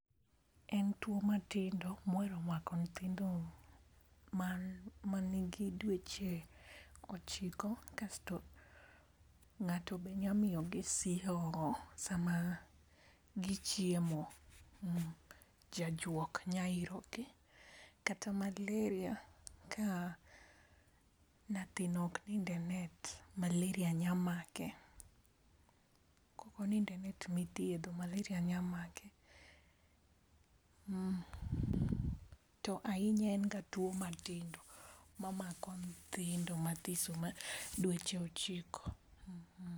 En tuo matindo mohero mako nyithindo mar manigi dueche ochiko kasto ng'ato be nya miyo gi sihongo sama gichiemo. Jajuok nya iro gii kata maleria ka nyathino ok nind e net malaria nya make, koko nind e net mithiedho maleria nya make . To ahinya en ga tuo matindo mamako nyithindo ma dueche ochiko.